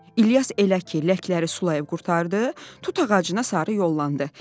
İlyas elə ki ləkləri sulayıb qurtardı, tut ağacına sarı yollandı.